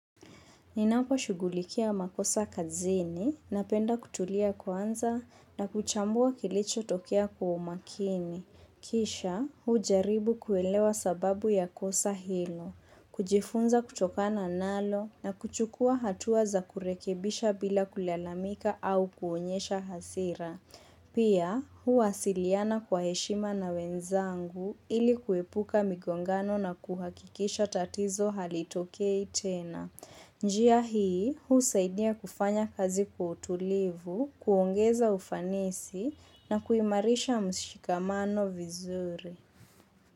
Ninapo shughulikia makosa kazini napenda kutulia kwanza na kuchambua kilicho tokea kwa umakini. Kisha hujaribu kuelewa sababu ya kosa hilo. Kujifunza kutokana nalo na kuchukua hatuwa za kurekebisha bila kulalamika au kuonyesha hasira. Pia huwasiliana kwa heshima na wenzangu ili kuepuka migongano na kuhakikisha tatizo halitokei tena. Njia hii, husaidia kufanya kazi kwa utulivu, kuongeza ufanisi na kuimarisha mshikamano vizuri.